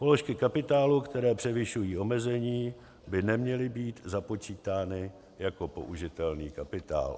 Položky kapitálu, které převyšují omezení, by neměly být započítány jako použitelný kapitál.